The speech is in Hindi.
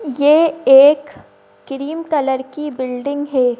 ये एक क्रीम कलर की बिल्डिंग है।